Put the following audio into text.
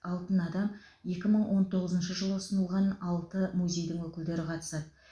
алтын адам екі мың он тоғызыншы жылы ұсынылған алты музейдің өкілдері қатысады